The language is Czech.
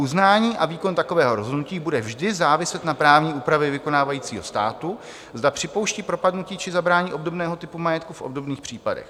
Uznání a výkon takového rozhodnutí bude vždy záviset na právní úpravě vykonávajícího státu, zda připouští propadnutí či zabrání obdobného typu majetku v obdobných případech.